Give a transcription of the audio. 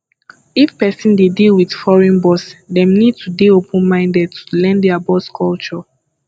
if person dey deal with foreign boss dem need to dey open minded to learn their boss culture